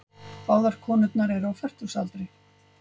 Báðar konurnar eru á fertugsaldri